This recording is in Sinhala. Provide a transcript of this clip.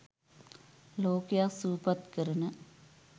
ලෝකයක් සුවපත් කරන